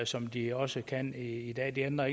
som de også kan i i dag det ændrer